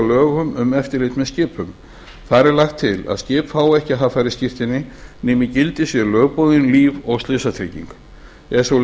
lögum um eftirlit með skipum þar er lagt til að skip fái ekki haffærisskírteini nema í gildi sé lögboðin líf og slysatrygging er sú